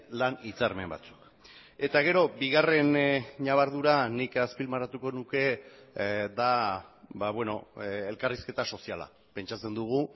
lan hitzarmen batzuk eta gero bigarren ñabardura nik azpimarratuko nuke da elkarrizketa soziala pentsatzen dugu